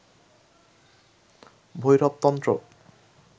ভৈরব তন্ত্র